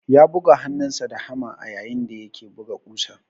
Ya buga hannunsa da hama ayayin da yake buga ƙusan.